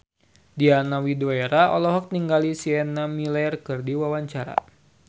Diana Widoera olohok ningali Sienna Miller keur diwawancara